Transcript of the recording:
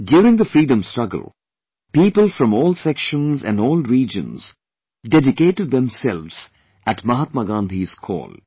During the Freedom Struggle people from all sections and all regions dedicated themselves at Mahatma Gandhi's call